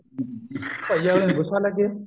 ਭਾਈ ਉਹਨੂੰ ਗੂੱਸਾ ਲੱਗਿਆ